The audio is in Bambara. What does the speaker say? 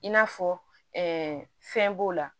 I n'a fɔ fɛn b'o la